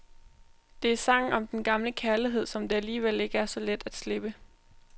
Det er sangen om den gamle kærlighed, som det alligevel ikke er så let at slippe.